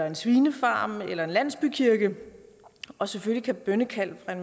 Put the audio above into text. en svinefarm eller en landsbykirke og selvfølgelig kan bønnekald